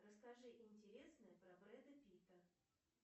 расскажи интересное про брэда питта